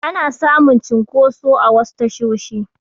Ana samun cunkoso a wasu tashoshi